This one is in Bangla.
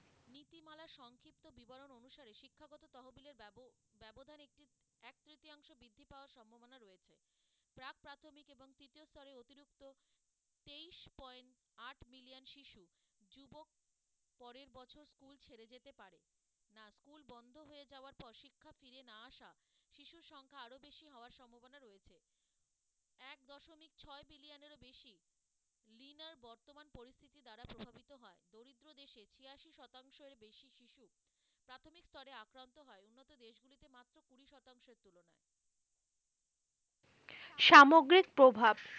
সামগ্রিক প্রভাব,